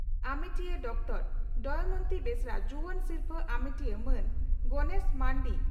ᱟᱢᱮᱴᱤᱭᱟᱹ doctor Damayanti Besra ᱡᱩᱣᱟᱹᱱ ᱥᱤᱨᱯᱷᱟᱹ ᱟᱢᱮᱴᱤᱭᱟᱹ ᱢᱟᱱ ᱜᱚᱱᱮᱥ ᱢᱟᱱᱰᱤ